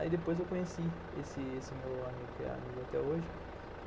Aí depois eu conheci esse esse meu amigo, que é amigo até hoje.